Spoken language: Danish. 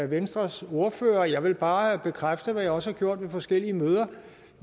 venstres ordfører jeg vil bare bekræfte hvad jeg også har gjort på forskellige møder at